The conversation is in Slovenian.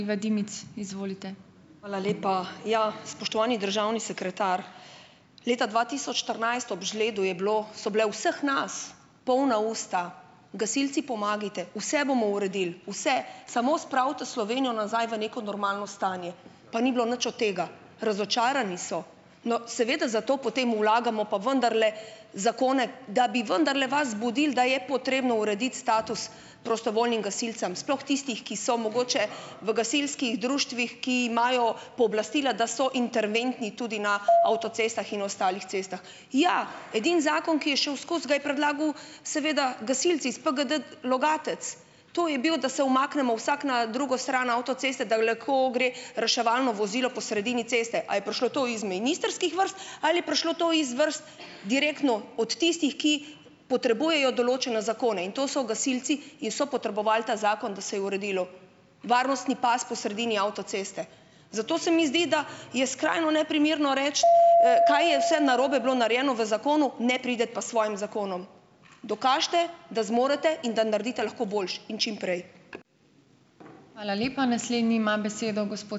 Hvala lepa. Ja, spoštovani državni sekretar! Leta dva tisoč štirinajst ob žledu je bilo - so bila vseh nas polna usta: "Gasilci, pomagajte! Vse bomo uredil! Vse! Samo spravite Slovenijo nazaj v neko normalno stanje." Pa ni bilo nič od tega. Razočarani so. No, seveda zato potem vlagamo pa vendarle zakone, da bi vendarle vas zbudil, da je potrebno urediti status prostovoljnim gasilcem. Sploh tistih, ki so mogoče v gasilskih društvih, ki imajo pooblastila, da so interventni tudi na avtocestah in ostalih cestah. Jah, edini zakon, ki je šel skozi, ga je predlagal, seveda gasilec iz PGD, Logatec. To je bil, da se umaknemo vsak na drugo stran avtoceste, da lahko gre reševalno vozilo po sredini ceste. A je prišlo to iz ministrskih vrst ali je prišlo to iz vrst direktno od tistih, ki potrebujejo določene zakone. In to so gasilci in so potrebovali ta zakon, da se je uredilo. Varnostni pas po sredini avtoceste. Zato se mi zdi, da je skrajno neprimerno reči, kaj je vse narobe bilo narejeno v zakonu, ne priti pa s svojim zakonom. Dokažite, da zmorete in da naredite lahko boljše. In čim prej.